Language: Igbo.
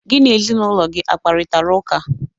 Gị na ezinụlọ gị a kparịtara ụka?